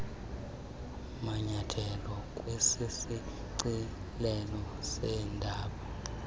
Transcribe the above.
manyethelo kwisishicilelo seendaba